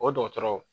O dɔgɔtɔrɔ